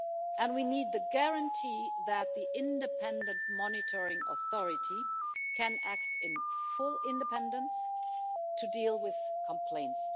And we need the guarantee that the Independent Monitoring Authority can act in full independence to deal with complaints.